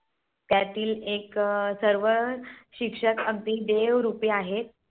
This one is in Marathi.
त्यातील एक सर्व शिक्षक अगदी देव रूप आहेत.